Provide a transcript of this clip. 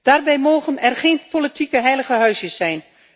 Daarbij mogen er geen politieke heilige huisjes zijn!